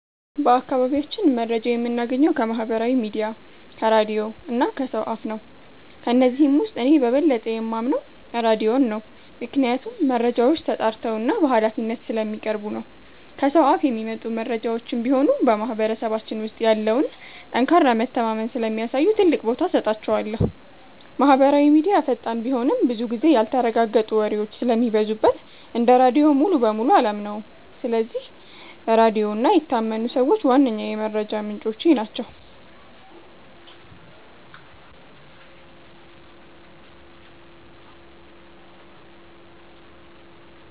በአካባቢያችን መረጃ የምናገኘው ከማህበራዊ ሚዲያ፣ ከራድዮ እና ከሰው አፍ ነው። ከነዚህም ውስጥ እኔ በበለጠ የማምነው ራድዮን ነው፤ ምክንያቱም መረጃዎች ተጣርተውና በሃላፊነት ስለሚቀርቡ ነው። ከሰው አፍ የሚመጡ መረጃዎችም ቢሆኑ በማህበረሰባችን ውስጥ ያለውን ጠንካራ መተማመን ስለሚያሳዩ ትልቅ ቦታ እሰጣቸዋለሁ። ማህበራዊ ሚዲያ ፈጣን ቢሆንም፣ ብዙ ጊዜ ያልተረጋገጡ ወሬዎች ስለሚበዙበት እንደ ራድዮ ሙሉ በሙሉ አላምነውም። ስለዚህ ራድዮ እና የታመኑ ሰዎች ዋነኛ የመረጃ ምንጮቼ ናቸው።